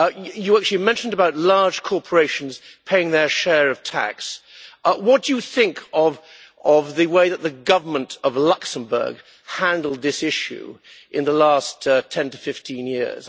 You actually mentioned large corporations paying their share of tax. What do you think of the way that the Government of Luxembourg has handled this issue over the past 10 to 15 years?